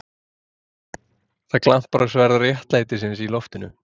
Það glampar á sverð réttlætisins í loftinu.